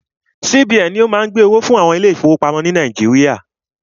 CBN ni o má ń gbẹ́ owó fún àwọn ilé ìfọwọ́pamo ni Nàíjíríà.